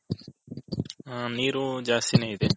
ಹ ನೀರು ದ್ಯಸ್ತಿ ನೆ ಇದೆ.